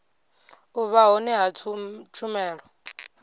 u vha hone ha tshumelo